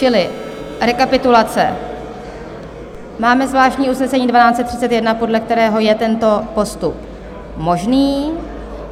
Čili rekapitulace: máme zvláštní usnesení 1231, podle kterého je tento postup možný.